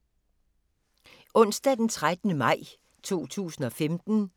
Onsdag d. 13. maj 2015